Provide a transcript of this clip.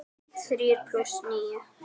Þrír plús níu.